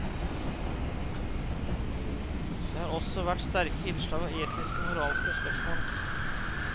Det har også vært sterke innslag av etiske og moralske spørsmål.